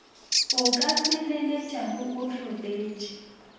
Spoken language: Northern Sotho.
o ka feleletšago o hloletše